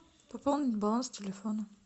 пополнить баланс телефона